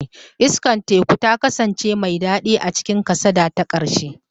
Iskar teku ta kasance mai daɗi a cikin kasada ta ƙarshe.